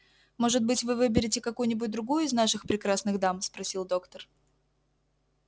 может быть вы выберете какую-нибудь другую из наших прекрасных дам спросил доктор